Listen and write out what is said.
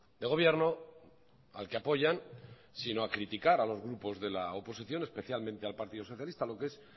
de gobierno al que apoyan sino a criticar a los grupos de la oposición especialmente al partido socialista lo que es